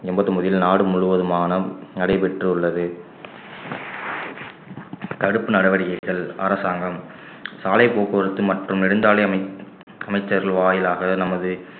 எண்பத்தி ஒன்பதில் நாடு முழுவதுமான நடைபெற்றுள்ளது தடுப்பு நடவடிக்கைகள் அரசாங்கம் சாலை போக்குவரத்து மற்றும் நெடுஞ்சாலை அமை~ அமைச்சர்கள் வாயிலாக நமது